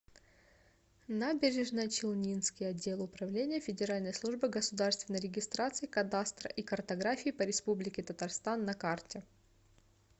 набережно челнинский отдел управления федеральной службы государственной регистрации кадастра и картографии по республике татарстан на карте